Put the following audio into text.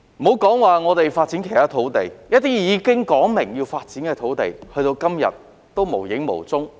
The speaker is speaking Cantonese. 莫說發展其他土地，一些已指明要發展的土地，直至今天仍然無影無蹤。